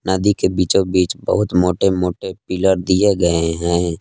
नदी के बीचो बीच बहुत मोटे मोटे पिलर दिए गए हैं।